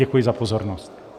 Děkuji za pozornost.